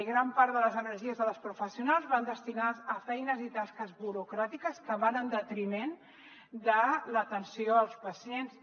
gran part de les energies de les professionals van destinades a feines i tasques burocràtiques que van en detriment de l’atenció dels pacients